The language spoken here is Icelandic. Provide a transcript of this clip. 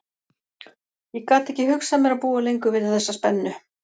Ég gat ekki hugsað mér að búa lengur við þessa spennu.